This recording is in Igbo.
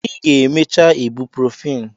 Ị ga-emecha ibuprofen!